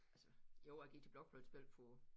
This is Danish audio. Altså jo jeg gik til blokfløjtespil for